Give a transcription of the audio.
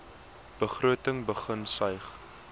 begroting begin suig